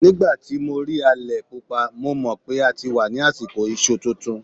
Nígbà tí mo rí alẹ̀-Pupa, mo mọ̀ PÉ a ti wà ní àsìkò iṣu tuntun.